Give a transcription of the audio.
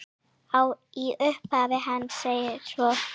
Í upphafi hans segir svo